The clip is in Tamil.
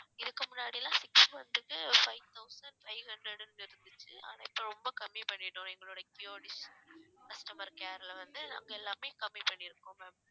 இதுக்கு முன்னாடிலாம் six month க்கு five thousand five hundred ன்னு இருந்துச்சு ஆனா இப்ப ரொம்ப கம்மி பண்ணிட்டோம் எங்களோட kio dish customer care ல வந்து நாங்க எல்லாமே கம்மி பண்ணிருக்கோம் ma'am